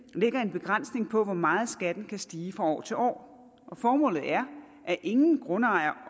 begrænsning på hvor meget skatten kan stige fra år til år formålet er at ingen grundejer